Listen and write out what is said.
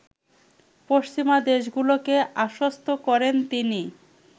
পশ্চিমা দেশগুলোকে আশ্বস্ত করেন তিনি